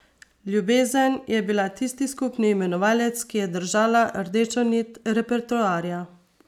Ljubezen je bila tisti skupni imenovalec, ki je držala rdečo nit repertoarja.